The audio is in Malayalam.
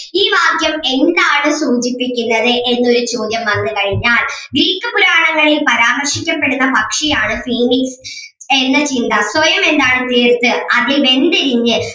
ഈ വാക്യം എന്താണ് സൂചിപ്പിക്കുന്നത് എന്നൊരു ചോദ്യം വന്നു കഴിഞ്ഞാൽ ഗ്രീക്ക് പുരാണങ്ങളിൽ പരാമർശിക്കപ്പെടുന്ന പക്ഷി ആണ് phoenix എന്ന ചിന്ത സ്വയം എന്താണ് വിലയിരുത്തുക അതിൽ വെന്തുരുകിയ